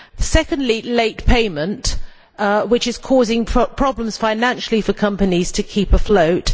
Secondly, late payment which is causing problems financially for companies to keep afloat.